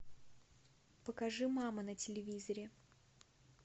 покажи мама на телевизоре